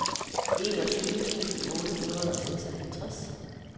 enogtyve tusind otte hundrede og seksoghalvtreds